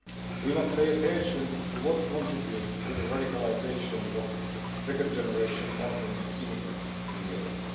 We must pay attention to what contributes to the radicalisation of second generation Muslim immigrants in Europe.